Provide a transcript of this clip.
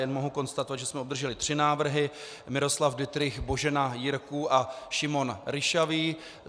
Jen mohu konstatovat, že jsme obdrželi tři návrhy: Miroslav Dittrich, Božena Jirků a Šimon Ryšavý.